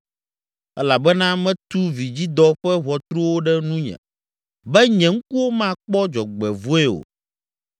elabena metu vidzidɔ ƒe ʋɔtruwo ɖe nunye, be nye ŋkuwo makpɔ dzɔgbevɔ̃e o.